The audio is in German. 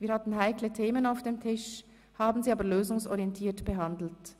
Wir hatten heikle Themen auf dem Tisch, haben sie aber lösungsorientiert behandelt.